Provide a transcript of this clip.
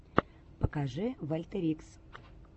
покажи вольтерикс